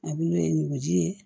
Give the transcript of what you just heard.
A bulu ye nugu ji ye